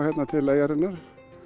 hingað til eyjarinnar